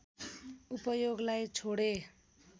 उपयोगलाई छोडे